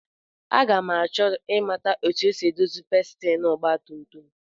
Aga m achọ ịmata etu e si edozi pistin ọgbatumtum